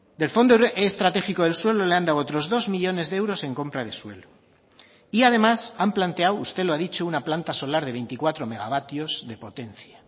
del fondo estratégico del suelo le han dado otros dos millónes de euros en compra de suelo y además han planteado usted lo ha dicho una planta solar de veinticuatro megavatios de potencia